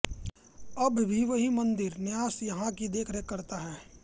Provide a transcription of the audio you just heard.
अब भी वही मंदिर न्यास यहां की देखरेख करता है